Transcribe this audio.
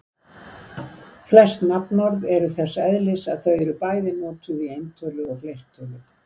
Flest nafnorð eru þess eðlis að þau eru bæði notuð í eintölu og fleirtölu.